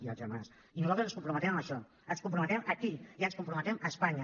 i nosaltres ens comprometem a això ens hi comprometem aquí i ens hi comprometem a espanya